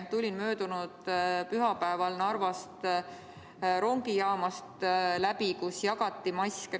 Tulin möödunud pühapäeval läbi Narva rongijaamast, kus jagati maske.